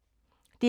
DR K